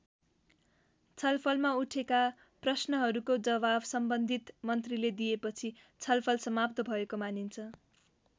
छलफलमा उठेका प्रश्नहरूको जवाफ सम्बन्धित मन्त्रीले दिएपछि छलफल समाप्त भएको मानिन्छ।